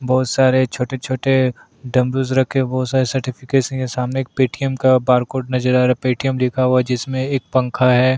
बहोत सरे छोटे-छोटे डमरू रखे हुए हैं बहोत सारे सर्टिफिकेट भी हैं सामने एक पेटीएम का बारकोड नज़र आ रहा है पेटीएम लिख हुआ जिसमें एक पंखा हैं।